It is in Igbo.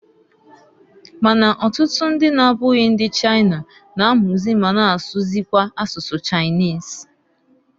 Ma na ọtụtụ ndị na-abụghị ndi China, na-amụzị ma na asụkwazị asụsụ Chinese.